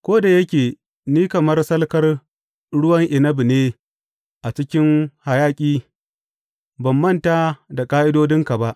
Ko da yake ni kamar salkar ruwan inabi ne a cikin hayaƙi, ban manta da ƙa’idodinka ba.